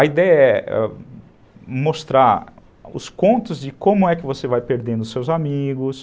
A ideia é mostrar os contos de como é que você vai perdendo os seus amigos,